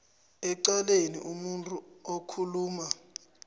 ecaleni umuntu okhuluma